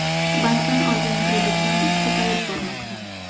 Bankdan olgan kreditim ko‘payib bormoqda.